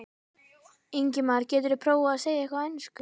Ingimar: Geturðu prófað að segja eitthvað á ensku?